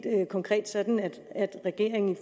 konkret sådan at regeringen